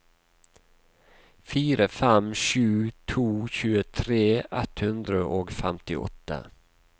fire fem sju to tjuetre ett hundre og femtiåtte